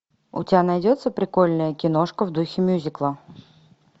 у тебя найдется прикольная киношка в духе мюзикла